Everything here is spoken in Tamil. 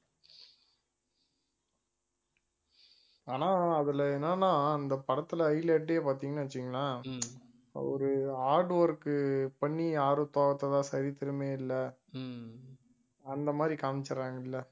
ஆனா அதுல என்னன்னா இந்த படத்துல highlight ஏ பாத்தீங்கன்னா வச்சுக்கோங்களேன் ஒரு hard work பண்ணி யாரும் தோத்ததா சரித்திரமே இல்லை அந்த மாதிரி காமிச்சிடுறாங்கல்ல.